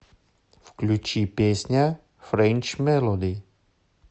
включи песня френч мелоди